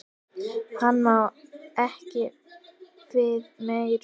Hann má ekki við meiru.